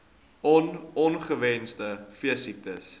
on ongewenste veesiektes